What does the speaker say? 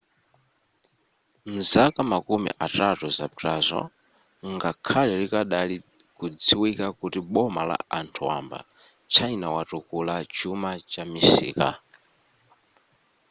mzaka makumi atatu zapitazo ngakhale likadali kudziwika kuti boma la anthu wamba china watukula chuma chamisika